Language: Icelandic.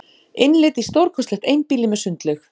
Innlit í stórkostlegt einbýli með sundlaug